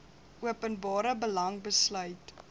openbare belang besluit